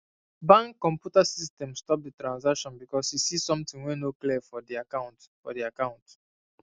bank computer system stop the transaction because e see something wey no clear for the account for the account